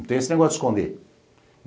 Não tem esse negócio de esconder.